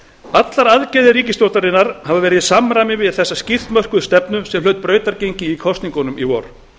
allar aðgerðir ríkisstjórnarinnar hafa verið í samræmi við þessa skýrt mörkuðu stefnu sem hlaut brautargengi í kosningunum í vor